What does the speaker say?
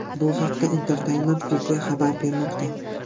Bu haqda Entertainment Weekly xabar bermoqda .